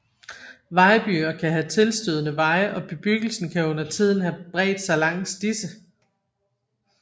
Vejbyer kan have tilstødende veje og bebyggelsen kan undertiden have bredt sig langs disse